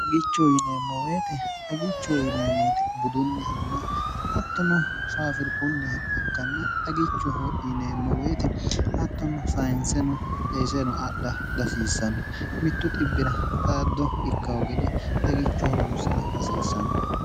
dhagicho yineemmoweete dhagicho yineemmoete budunnihanna attono faafir kunniha ikkanna dhagichoho yineemmoweete attono sayinseno eeseno adha dasiissanno mittu ir xaaddo ikk ogede xagicho horonsira hasiissanno